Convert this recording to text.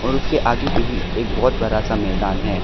और उसके आगे भी एक बहुत बड़ा सा मैदान है।